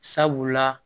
Sabula